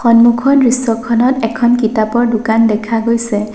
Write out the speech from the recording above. সন্মুখৰ দৃশ্যখনত এখন কিতাপৰ দোকান দেখা গৈছে।